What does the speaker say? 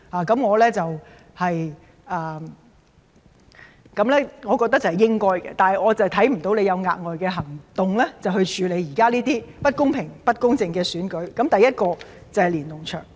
但是，我是看不到他有甚麼額外行動以處理現時這種不公平、不公正的選舉，第一點是連儂牆。